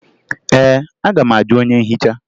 Ee, aga m ajụ onye nhicha